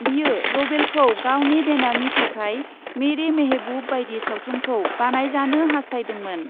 बियो रभेलखौ गावनि बेनारनि थाखाय मेरे मेहेबुब बायदि सावथुनखौ बानायजानो हास्थायदोंमोन ।